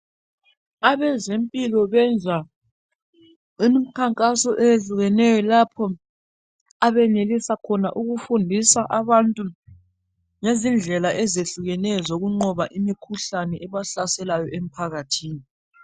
Abezempilo benza imikhankaso eyehlukeneyo lapho abenelisa khona ukufundisa abantu ngezindlela ezehlukeneyo zokunqoba imikhuhlane ebahlaselayo emphakathini